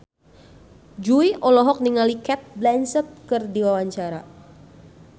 Jui olohok ningali Cate Blanchett keur diwawancara